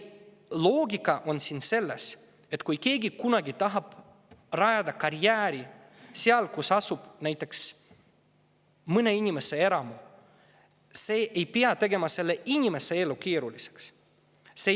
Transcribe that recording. Loogika on siin selles, et kui keegi tahab kunagi rajada karjääri sinna, kus asub näiteks mõne inimese eramu, siis see ei pea tegema selle inimese elu keeruliseks.